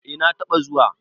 eh na taba zuwa